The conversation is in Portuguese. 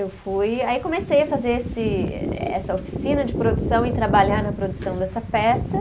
Eu fui, aí comecei a fazer esse, essa oficina de produção e trabalhar na produção dessa peça.